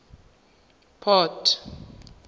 port